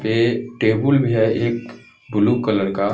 ये टेबुल भी है एक ब्लू कलर का--